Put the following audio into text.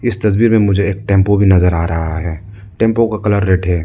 इस तस्वीर में मुझे एक टेंपो भी नजर आ रहा है टेंपो का कलर रेड है।